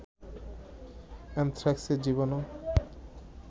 অ্যানথ্রাক্সের জীবাণু